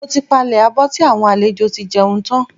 Mo ti palẹ̀ abọ́ tí àwọn àlejò tí jẹun tán.